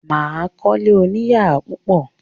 Mà á kọ́lé oníyàrá púpọ̀.